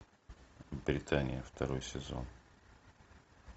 британия второй сезон